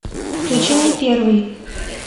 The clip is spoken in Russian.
включи мне первый